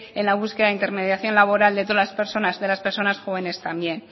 en la búsqueda de intermediación laboral de todas las personas de las personas jóvenes también